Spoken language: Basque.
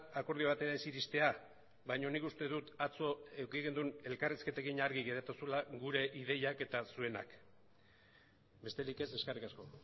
akordio batera ez iristea baina nik uste dut atzo eduki genuen elkarrizketekin argi geratu zela gure ideiak eta zuenak besterik ez eskerrik asko